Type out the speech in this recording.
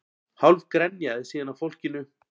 Hálf grenjaði síðan að fólkinu